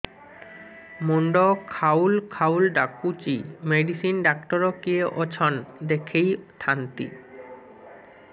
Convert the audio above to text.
ମୁଣ୍ଡ ଖାଉଲ୍ ଖାଉଲ୍ ଡାକୁଚି ମେଡିସିନ ଡାକ୍ତର କିଏ ଅଛନ୍ ଦେଖେଇ ଥାନ୍ତି